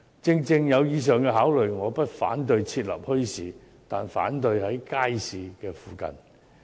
正正基於以上考慮，我不反對設立墟市，但反對其設立在街市附近。